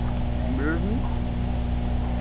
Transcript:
বেরোস নি?